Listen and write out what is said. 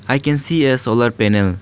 I can see a solar panel.